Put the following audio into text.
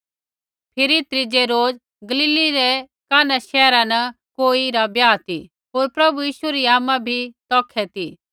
फिरी त्रीज़ै रोज गलीलै रै काना शैहरा न कोई रा ब्याह ती होर प्रभु यीशु री आमा भी तौखै ती